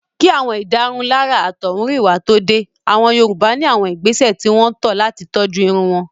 Kí àwọn ìdárunlárà àtọ̀húnrìnwá tó dé. Àwọn Yorùbá ní àwọn ìgbésẹ̀ tí wọ́n tọ́ ọ̀ làti tọ́jú irun wọn.